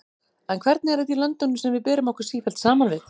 En hvernig er þetta í löndunum sem við berum okkur sífellt saman við?